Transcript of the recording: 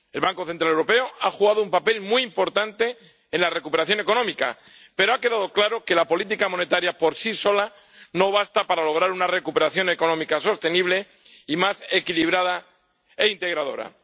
El Banco Central Europeo ha desempeñado un papel muy importante en la recuperación económica, pero ha quedado claro que la política monetaria por sí sola no basta para lograr una recuperación económica sostenible y más equilibrada e integradora.